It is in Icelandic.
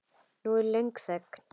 Nú er löng þögn.